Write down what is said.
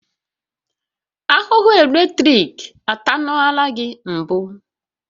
Ahụhụ eletrik atanuola gị mbụ?